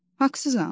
Haqsızam?